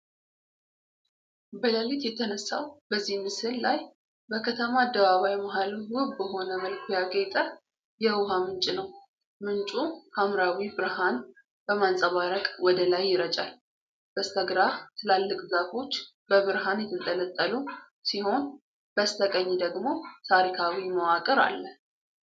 በሌሊት በተነሳው በዚህ ምስል ላይ በከተማ አደባባይ መሃል ውብ በሆነ መልኩ ያጌጠ የውሃ ምንጭ ነው። ምንጩ ሐምራዊ ብርሃን በማንጸባረቅ ወደ ላይ ይረጫል። በስተግራ ትላልቅ ዛፎች በብርሃን የተንጠለጠሉ ሲሆን፣ በስተቀኝ ደግሞ ታሪካዊ መዋቅር አለ።